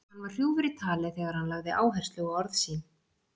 Hann var hrjúfur í tali þegar hann lagði áherslu á orð sín.